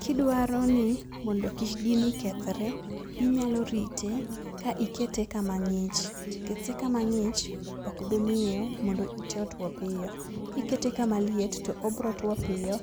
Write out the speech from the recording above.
Kidwaro ni mondo kik gini kethre, inyalo rite ka ikete kamang'ich. Kete kamang'ich ok bi miyo mondo ite otuo piyo. Kikete kamaliet, to ibiro two piyo